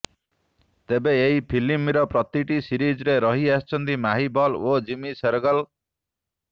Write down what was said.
ତେବେ ଏହି ଫିଲ୍ମର ପ୍ରତିଟି ସିରିଜ୍ରେ ରହିଆସିଛନ୍ତି ମାହି ବଲ୍ ଓ ଜିମି ସେରଗିଲ୍